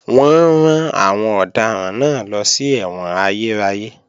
Wọ́n rán àwọn ọ̀daràn náà lọ sí ẹ̀wọ̀n ayérayé